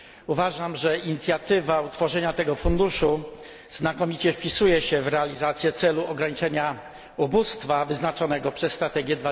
Uważam, że inicjatywa utworzenia tego funduszu znakomicie wpisuje się w realizację celu ograniczenia ubóstwa wyznaczonego przez strategię